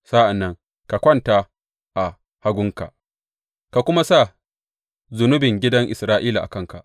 Sa’an nan ka kwanta a hagunka ka kuma sa zunubin gidan Isra’ila a kanka.